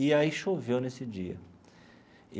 E aí choveu nesse dia.